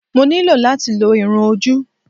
Mo ní láti lo irun-ojú